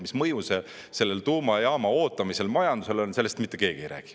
Mis mõju sellel tuumajaama ootamisel majandusele on, sellest mitte keegi ei räägi.